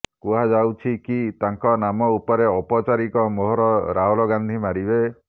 କୁହାଯାଉଛି କି ତାଙ୍କର ନାମ ଉପରେ ଔପଚାରିକ ମୋହର ରାହୁଲ ଗାନ୍ଧୀ ମାରିବେ